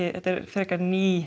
þetta er frekar ný